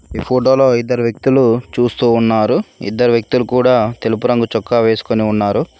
ఈ ఫోటో లో ఇద్దరు వ్యక్తులు చూస్తూ ఉన్నారు ఇద్దరు వ్యక్తులు కూడా తెలుపు రంగు చొక్కా వేసుకొని ఉన్నారు.